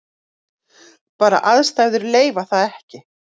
Bara aðstæður leyfa það ekki.